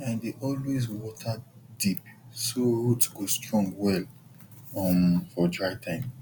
i dey always water deep so root go strong well um for dry time